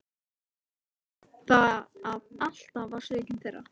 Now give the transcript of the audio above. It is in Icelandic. Eitt var nú það að alltaf var sökin þeirra.